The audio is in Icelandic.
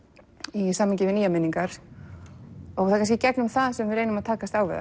í samhengi við nýjar minningar það er kannski í gegnum það sem við reynum að takast á við